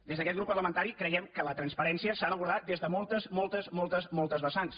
des d’aquest grup parlamentari creiem que la transparència s’ha d’abordar des de moltes moltes moltes moltes vessants